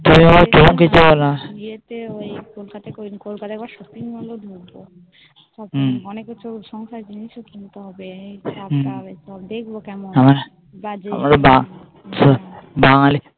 ইয়েতে ওই কলকাতায় একবার কলকাতায় একবার Shopping মোলে একবার ঢুকবো অনেক কিছু সংখ্যায় জিনিসও কিনতে হবে দেখবো কেমনহ্যাঁ আমরা বাঙালি